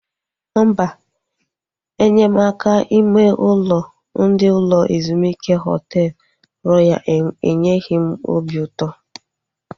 Mba, enyemaka ime ụlọ ndị ụlọ ezumike Họtel Royal enyeghị m obi ụtọ